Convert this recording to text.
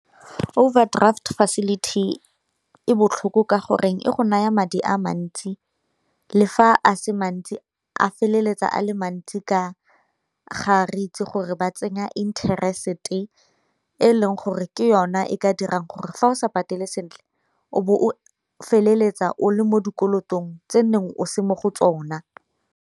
Overdraft facility e botlhoko ka gore e go naya madi a mantsi le fa a se mantsi a feleletsa a le mantsi ka ga re itse gore re ba tsenya interest-e, e leng gore ke yona e ka dirang gore fa o sa patele sentle o bo o feleletsa o le mo dikolotong tse nneng o se mo go tsona.